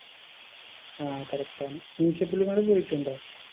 ആ correct ആണ് Meesapulimala പോയിട്ടുണ്ടോ